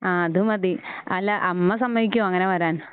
ആ അതുമതി അല്ല അമ്മ സമ്മതിക്കുവോ അങ്ങനെ വരാൻ?